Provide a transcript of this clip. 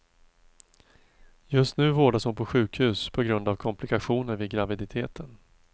Just nu vårdas hon på sjukhus på grund av komplikationer vid graviditeten.